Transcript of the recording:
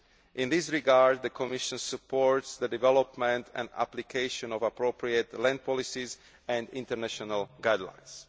In this regard, the Commission supports the development and application of appropriate land policies and international guidelines.